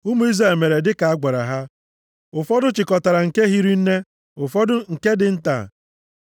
Ụmụ Izrel mere dịka a gwara ha, ụfọdụ chịkọtara nke hiri nne, ụfọdụ nke dị nta.